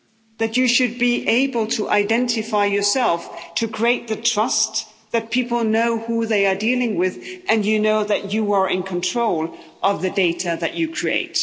that you should be able to identify yourself to create the trust that people know who they are dealing with and you know that you are in control of the data that you create.